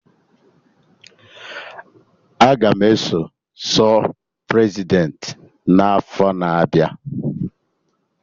Aga m eso zọ Prezidentị n'afọ na-abịa